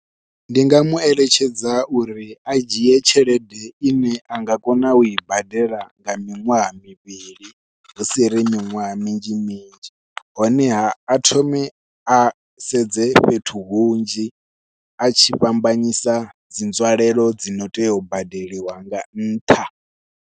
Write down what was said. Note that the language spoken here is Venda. Ndi nga mueletshedza uri a dzhie tshelede ine a nga kona ui badela nga miṅwaha mivhili hu si ri miṅwaha minzhi minzhi, honeha a thome a sedze fhethu hunzhi a tshi fhambanyisa dzi nzwalelo dzi no tea u badeliwa nga nṱha.